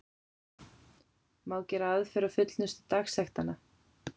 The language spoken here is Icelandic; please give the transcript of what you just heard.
Má gera aðför til fullnustu dagsektanna.